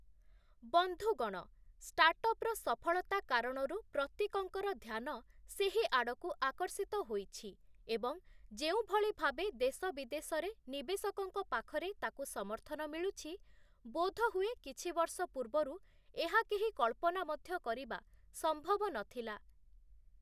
ବନ୍ଧୁଗଣ, ଷ୍ଟାର୍ଟଅପ୍‌ର ସଫଳତା କାରଣରୁ ପ୍ରତ୍ୟେକଙ୍କର ଧ୍ୟାନ ସେହିଆଡ଼କୁ ଆକର୍ଷିତ ହୋଇଛି ଏବଂ ଯେଉଁଭଳି ଭାବେ ଦେଶ ବିଦେଶରେ, ନିବେଶକଙ୍କ ପାଖରେ ତାକୁ ସମର୍ଥନ ମିଳୁଛି ବୋଧ ହୁଏ କିଛିବର୍ଷ ପୂର୍ବରୁ ଏହା କେହି କଳ୍ପନା ମଧ୍ୟ କରିବା ସମ୍ଭବ ନ ଥିଲା ।